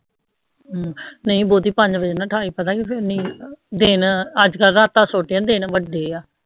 ਅਹ ਨਹੀਂ ਪੰਜ ਬਜੇ ਨਾ ਠਾਇ ਪਤਾ ਕਯਾ ਫੇਰ ਨੀਂਦ ਦਿਨ ਅਜਕਲ ਰਾਤਾ ਛੋਟੀ ਆ ਦਿਨ ਵਡੇ ਆ